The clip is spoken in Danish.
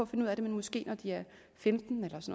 finde ud af det men måske når de er femten